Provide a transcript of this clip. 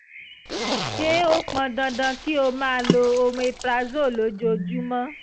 ṣé ó pọn dandan kí o máa lo omeprazole lójoojúmọ́